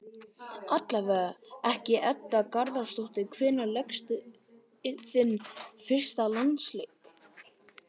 Allavega ekki Edda Garðarsdóttir Hvenær lékstu þinn fyrsta landsleik?